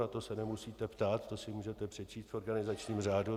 Na to se nemusíte ptát, to si můžete přečíst v organizačním řádu.